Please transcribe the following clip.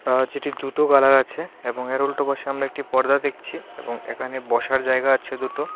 দুটো কালার আছে এবং এর উল্টো পাশে আমরা একটি পর্দা দেখছি এবং এখানে বসার জায়গা আছে দুটো.